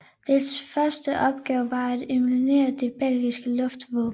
Dets første opgave var at eliminere det belgiske luftvåben